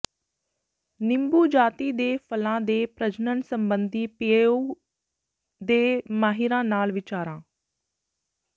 ਨਿੰਬੂ ਜਾਤੀ ਦੇ ਫਲਾਂ ਦੇ ਪ੍ਰਜਣਨ ਸਬੰਧੀ ਪੀਏਯੂ ਦੇ ਮਾਹਿਰਾਂ ਨਾਲ ਵਿਚਾਰਾਂ